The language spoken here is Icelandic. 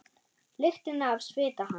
Lyktina af svita hans.